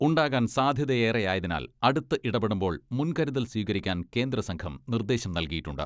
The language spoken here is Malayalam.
ഉണ്ടാകാൻ സാധ്യതയേറെയായതിനാൽ അടുത്ത് ഇടപെടുമ്പോൾ മുൻകരുതൽ സ്വീകരിക്കാൻ കേന്ദ്ര സംഘം നിർദേശം നൽകിയിട്ടുണ്ട്.